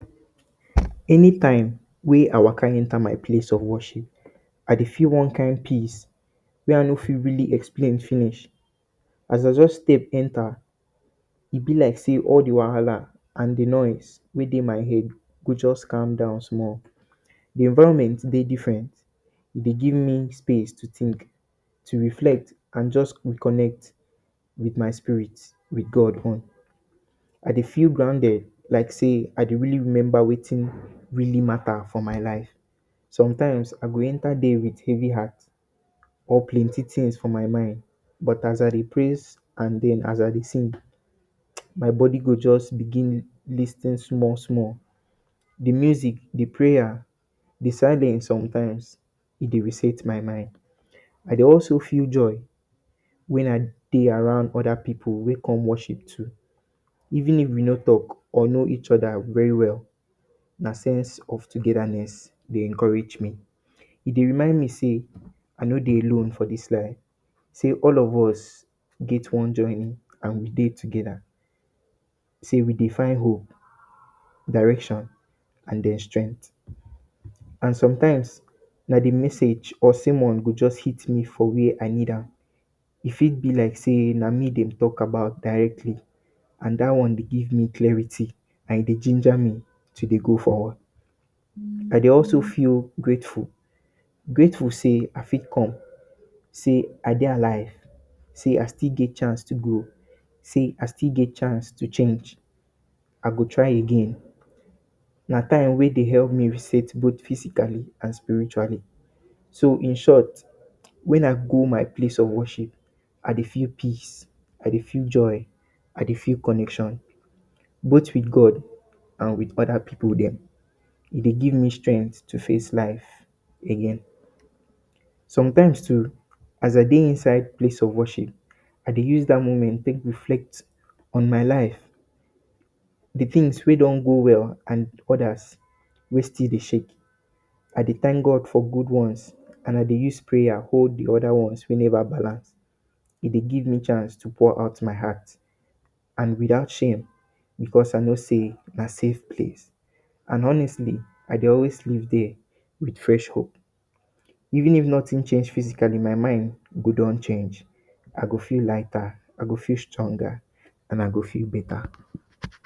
Any time wey I waka enter my place of worship I de feel one kind peace wey I no fit really explain finish, as I just step enter e be like sey all de wahala and de noise wey de my head go just calm down small. de environment de different e de give me space to think, to reflect and just reconnect with my spirit, wit God own I de feel grinded like sey I de really remember wetin really matter for my life. sometimes I go enter there with heavy heart or plenty things for my mind but as I dey praise, and den as I de sing, my body go just begin lis ten small small, de music, de pray, de silence sometimes e de reset my mind I de also feel joy when I de around other pipu wey come worship too even if we no talk or know each other very well, na sense of togetherness dey encourage me e dey remind me sey I no de alone for this place say all of us and we de together, sey we dey find hope, direction and den strength and sometimes na d message or sermon go just hit me for where I need am e fit be like sey na me dem de talk about directly and that one de give me clarit, e de ginger me to de go forward. I de also feel grateful, grateful sey I fit come, sey I dey alive, sey I still get chance to grow, sey I still get chance to change. I go try again na time wey de help me reset both physically and spiritually so in short when I go my place of worship I de feel peace, I de feel joy, I de feel connection both with God and with other pipu them e de give me strength to face life again. sometimes too as I de inside my place of worship I de use that moment de take reflect on my life de things wey don go well and other wey still de shake I de thank God for good ones and I de use prayers hold d other ones wey never balance, e de give me chance de pour my heart and without shame because I no sey na safe place and honestly I de always leave there with fresh hope even if nothing change physically my mind go don change I go feel lighter I go feel stronger and I go feel better